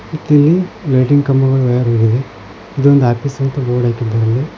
ಮತ್ತೆ ಇಲ್ಲಿ ಲೈಟಿಂಗ್ ಕಂಬಗಳು ವಯರ್ ಹೋಗಿದೆ ಮತ್ತೆ ಇಲ್ಲಿ ಆಫೀಸ್ ಅಂತ ಬೋರ್ಡ್ ಹಾಕಿದೆ.